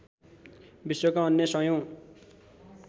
विश्वका अन्य सयौँ